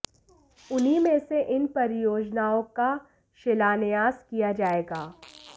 उन्हीं में से इन परियोजनाओं का शिलान्यास किया जायेगा